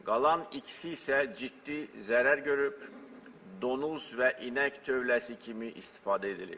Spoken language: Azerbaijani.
Qalan ikisi isə ciddi zərər görüb, donuz və inək tövləsi kimi istifadə edilib.